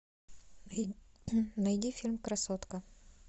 найди фильм красотка